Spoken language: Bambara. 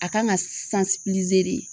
A kan ka de.